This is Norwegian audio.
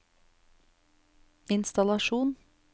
innstallasjon